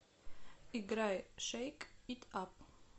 играй шэйк ит ап